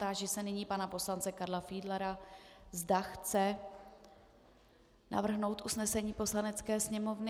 Táži se nyní pana poslance Karla Fiedlera, zda chce navrhnout usnesení Poslanecké sněmovny.